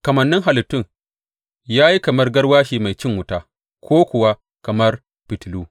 Kamannin halittun ya yi kamar garwashi mai cin wuta ko kuwa kamar fitilu.